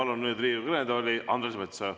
Ma palun nüüd Riigikogu kõnetooli Andres Metsoja.